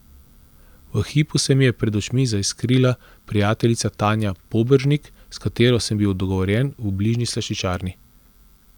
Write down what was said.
V hipu se mi je pred očmi zaiskrila prijateljica Tanja Poberžnik, s katero sem bil dogovorjen v bližnji slaščičarni.